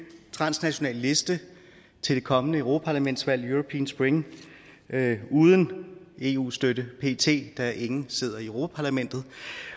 transnational liste til det kommende europaparlamentsvalg european spring uden eu støtte pt da ingen sidder i europa parlamentet